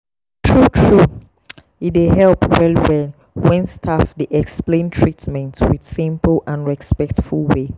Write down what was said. true true e dey help well well when staff dey explain treatment with simple and respectful way.